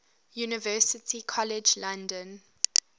university college london